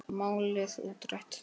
Málið útrætt.